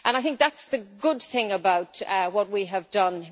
I think that is the good thing about what we have done.